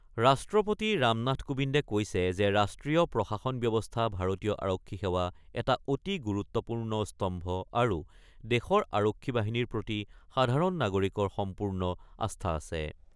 ৰাষ্ট্ৰপতি ৰামনাথ কোবিন্দে কৈছে যে ৰাষ্ট্ৰীয় প্ৰশাসন ব্যৱস্থা ভাৰতীয় আৰক্ষী সেৱা এটা অতি গুৰুত্বপূৰ্ণ স্তম্ভ আৰু দেশৰ আৰক্ষী বাহিনীৰ প্ৰতি সাধাৰণ নাগৰিকৰ সম্পূৰ্ণ আস্থা আছে।